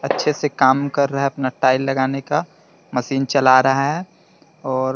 अच्छे से काम कर रहा है अपना टाइल लगाने का मशीन चला रहा है । और --